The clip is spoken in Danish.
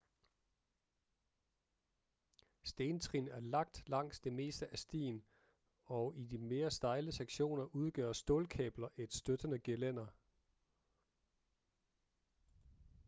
stentrin er lagt langs det meste af stien og i de mere stejle sektioner udgør stålkabler et støttende gelænder